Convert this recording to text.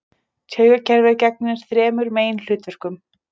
Taugakerfið gegnir þremur meginhlutverkum.